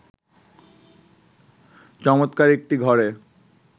চমৎকার একটি ঘরে